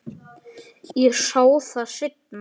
Ég sá það seinna.